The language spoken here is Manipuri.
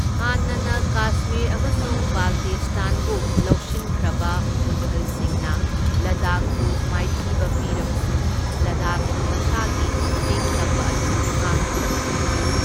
ꯍꯥꯟꯅꯅ ꯀꯥꯁꯃꯤꯔ ꯑꯃꯁꯨꯡ ꯕꯥꯜꯇꯤꯁ꯭ꯇꯥꯟꯕꯨ ꯂꯧꯁꯤꯟꯈ꯭ꯔꯕ ꯃꯨꯘꯜꯁꯤꯡꯅ ꯂꯗꯥꯈꯄꯨ ꯃꯥꯏꯊꯤꯕ ꯄꯤꯔꯕꯁꯨ, ꯂꯗꯥꯈꯅ ꯃꯁꯥꯒꯤ ꯅꯤꯡꯇꯝꯕ ꯑꯗꯨ ꯉꯥꯛꯇꯨꯅ ꯊꯝꯈꯤ꯫